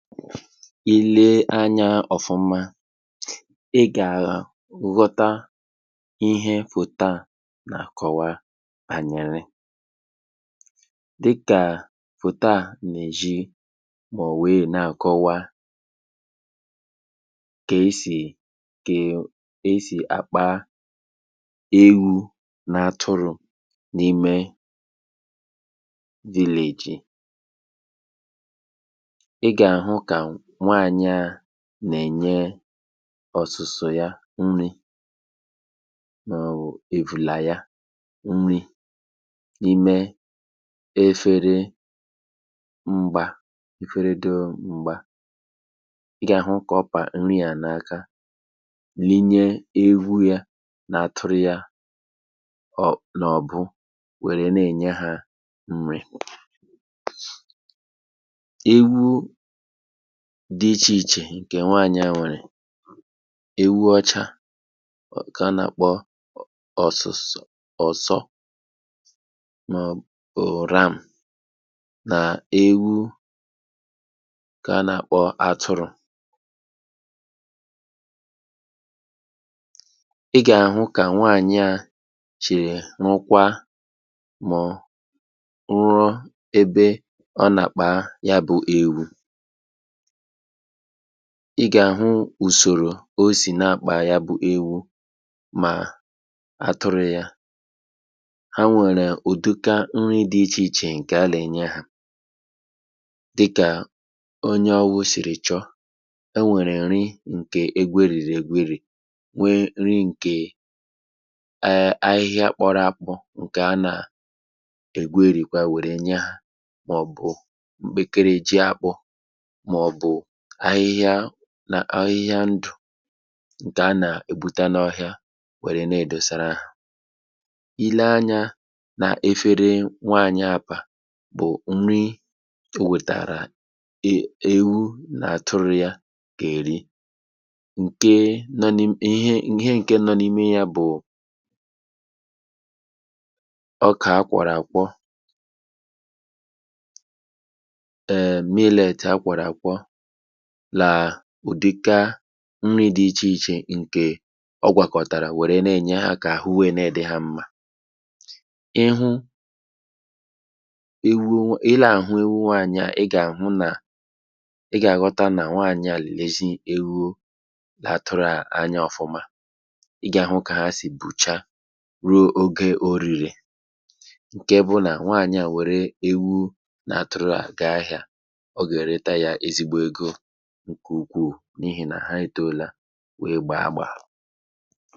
Ịle anya ọ̀fụma ị gà à ghọta ihe fòto a nà-àkọwa ànyị́lị̀. Dịkà fòto a nà-èzhi mọ wee na àkọwa kà esì kà esì àkpa ewu̇ nà atụ̇rụ̀ n’imė village. Ị gà-àhụ ka nwanyị a nà-ènye ọ̀sụ̀sụ̀ ya nri ma ọ̀ wụ evùlà ya nri n’ime efere mgbà, efere dị o m̀gbà. Ị gà-àhụ kà ọ pà nri à n’aka linye ewu̇ ya na atụ̇rụ̀ yȧ ọ̀ n’ ọ̀bụ wère na-ènye hȧ nri. Ewu dị ichè ichè ǹkè nwaànyị à nwèrè: ewu ọcha ọ nka a nà-akpọ̀ ọsusu ọ̀sọ̀ mà ọ̀ um ram, nà ewu nkà a nà-akpọ̀ atụrụ̇. Ị gà-àhụ kà nwaànyị à chì nụkwa mọ̀ ruọ ebe ọ nà-àkpà ya bụ̇ ewu̇. Ị gà-àhụ ùsòrò o sì n’akpà ya bụ ewu mà atụrụ̇ ya. Ha nwèrè ùduka nri̇ dị ichè ichè ǹkè alà-ènye ha dịkà onye ọwụ̇ sìrì chọ. Enwèrè nri ǹkè egwerìrì egwerì, nwe nri ǹkè um a ahịhịa kpọrọ akpọ ǹkè a nà- ègwerìkwà wèrè nye ha mà ọ̀ bụ̀ mkpekere ji akpụ̇ mà ọ̀ bụ̀ ahịhịa n ahịhịa ndù ǹkè a nà-ègbuta n’ọhịa nwèrè na-èdòsara ha. Ilee anyȧ n’efere nwaànyi a pȧ, bụ̀ nri o wètàrà e èwu nà àtụrụ̇ ya gà-èri, ǹke nọ n’i ihe nke nọ n’imė ya bụ̀ ọkà akwàrọ àkwọ um millet akwàrọ àkwọ làà udịka nri dị ichè ichè ǹkè ọ gwàkọ̀tàrà wère na-ènye ha kà àhụ wee ne dị̇ ha mmȧ. Ịhụ ewu̇, ị là àhụ ewu nwanyi a, ị gà àhụ nà ị gà àghọta nà nwaànyị à lèzi ewu la atụrụ à anya ọ̀fụma. Ị gà àhụ kà ha sì bùcha ruo ogė orìre; ǹke bụ nà nwaànyị à wère ewu̇ na-atụrụ gaa ahị̇ȧ, ọ ga-ereta ya ezigbo ego nke ukwuu n’ihì nà ha etòola wee gbaa agbà.